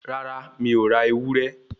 Rárá, mi ò ra ewúré